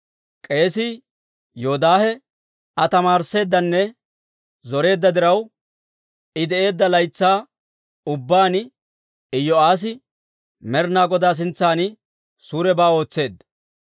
K'eesii Yoodaahe Aa tamaarisseeddanne zoreedda diraw, I de'eedda laytsaa ubbaan Iyo'aassi Med'ina Godaa sintsan suurebaa ootseedda.